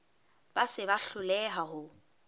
ba se ba hloleha ho